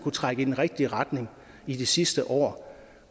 trække i den rigtige retning i det sidste år